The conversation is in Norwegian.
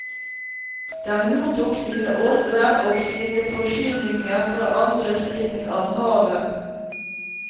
Den mottok sine ordrer og sine forsyninger fra andre siden av havet.